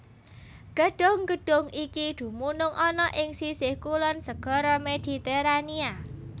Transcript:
Gedhung gedhung iki dumunung ana ing sisih kulon Segara Mediterania